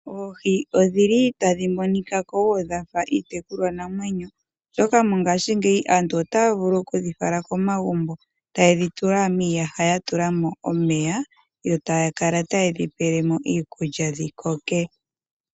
Oohi odhili tadhi monika kowo dhafa iitekulwa namwenyo oshoka mongashingeyi aantu ota vulu okudhi fala komagumbo taye dhi tula miiyaha ya tulamo omeya yo taya kala taye dhi pelemo iikulya dhikoke.